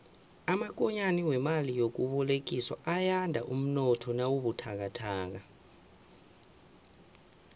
amakonyana wemali yokubolekiswa ayanda umnotho nawubuthakathaka